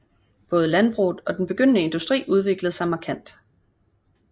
Både landbruget og den begyndende industri udviklede sig markant